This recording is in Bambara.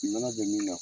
Nɔnɔ bɛ min na